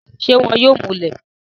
ṣé wọn yóò múlẹ̀?